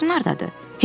Şeylərin hardadır?